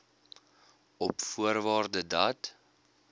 op voorwaarde dat